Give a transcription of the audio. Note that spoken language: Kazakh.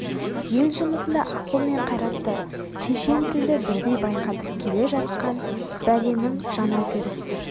ел жұмысында ақыл мен қайратты шешен тілді бірдей байқатып келе жатқан бәленің жаңа перісі